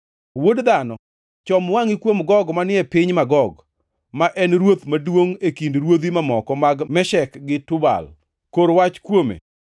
“Wuod dhano, chom wangʼi kuom Gog manie piny Magog, ma en ruoth maduongʼ e kind ruodhi mamoko mag Meshek gi Tubal, kor wach kuome